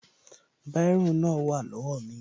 Bírò náà wà lówá mi